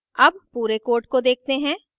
अब पूरे code को देखते हैं